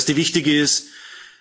Der erste wichtige Punkt ist